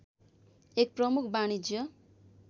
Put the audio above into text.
एक प्रमुख वाणिज्य